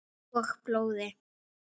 Og blóði.